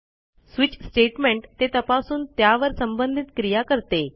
switch statement ते तपासून त्यावर संबंधित क्रिया करते